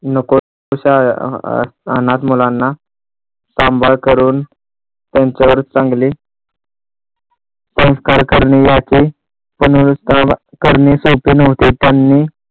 नको तश्या अनाथ मुलांना सांभाळ करून त्यांच्यावर चांगले संस्कार करणे याचे करणे शक्य नव्हते त्यांनी